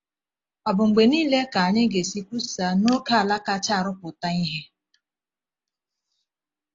Ọ bụ mgbe niile ka anyị ga-esi kwusaa n’ókèala kacha arụpụta ihe?